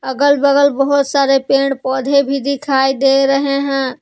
अगल बगल बहुत सारे पेड़ पौधे भी दिखाई दे रहे हैं।